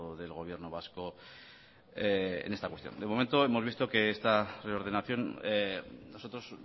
del gobierno vasco en esta cuestión de momento hemos visto que esta reordenación nosotros